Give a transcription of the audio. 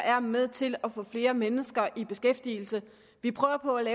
er med til at få flere mennesker i beskæftigelse vi prøver på at